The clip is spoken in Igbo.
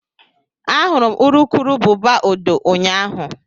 Ahụrụ m urukurubụba odo ụnyahụ